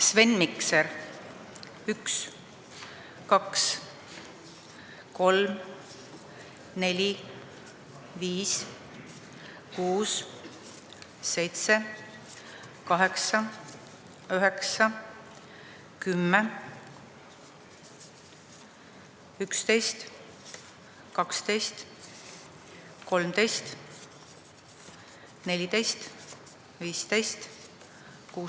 Sven Mikser: 1, 2, 3, 4, 5, 6, 7, 8, 9, 10, 11, 12, 13, 14, 15, 16, 17, 18, 19, 20, 21, 22, 23, 24, 25, 26, 27, 28, 29, 30, 31, 32, 33, 34, 35, 36, 37, 38, 39, 40, 41, 42,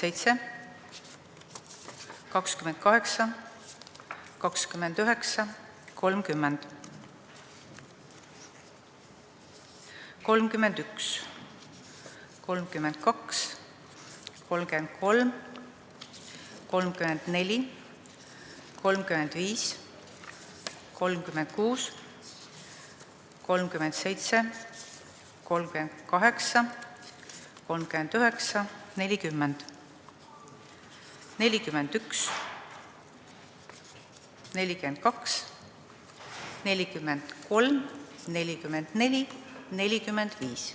43, 44, 45.